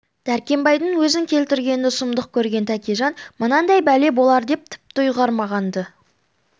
дәркембайдың өзін келтіргенді сұмдық көрген тәкежан мынандай бәле болар деп тіпті ұйғармаған-ды